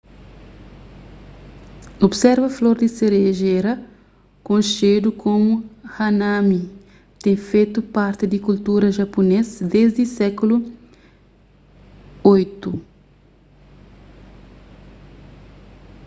observa flor di serejera konxedu komu hanami ten fetu parti di kultura japunês desdi sékulu viii